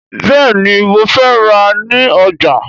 Bẹ́ẹ̀ni, mo fẹ́ rà á ní ọjà